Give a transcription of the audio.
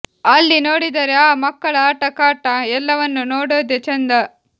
ಅಲ್ಲಿ ನೋಡಿದರೆ ಆ ಮಕ್ಕಳ ಆಟ ಕಾಟ ಎಲ್ಲವನ್ನೂ ನೋಡೋದೆ ಚೆಂದ